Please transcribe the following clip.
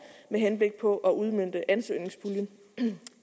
med henblik på at udmønte ansøgningspuljen